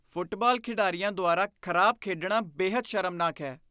Football ਖਿਡਾਰੀਆਂ ਦੁਆਰਾ ਖਰਾਬ ਖੇਡਣਾ ਬੇਹੱਦ ਸ਼ਰਮਨਾਕ ਹੈ।